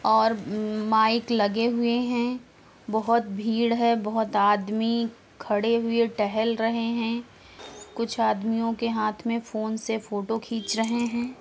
और म माइक लगे हुए हैं। बहोत भीड़ है। बहोत आदमी खड़े हुए टहल रहे हैं। कुछ आदमियों के हाथ में फोन से फोटो खीच रहे है।